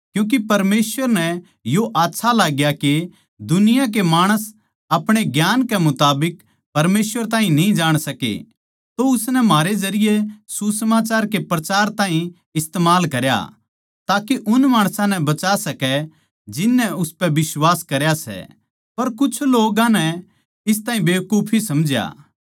क्यूँके परमेसवर नै यो आच्छा लाग्या के दुनिया के माणस आपणे ज्ञान कै मुताबिक परमेसवर ताहीं न्ही जाण सकै तो उसनै म्हारे जरिये सुसमाचार के प्रचार ताहीं इस्तमाल करया ताके उन माणसां नै बचा सकै जिननै उसपै बिश्वास करया सै पर कुछ लोग्गां नै इस ताहीं बेकुफी समझा